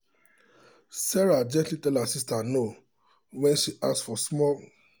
sarah gently tell her sister no when she ask for five thousand dollars loan to support her small business plan.